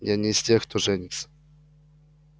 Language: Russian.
я не из тех кто женится